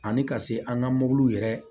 Ani ka se an ka mobiliw yɛrɛ